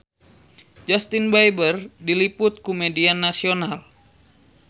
Justin Beiber diliput ku media nasional